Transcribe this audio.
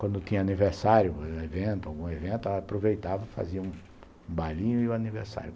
Quando tinha aniversário, algum evento, algum evento, aproveitava e fazia um bailinho e o aniversário.